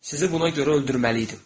Sizi buna görə öldürməliydim.